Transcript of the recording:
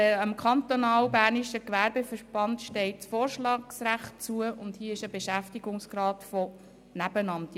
Dem Kantonal-Bernischen Gewerbeverband steht das Vorschlagsrecht zu, und hier geht es um einen Beschäftigungsrat im Nebenamt.